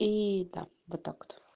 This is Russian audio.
и там вот так вот